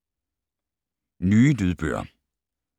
Nye lydbøger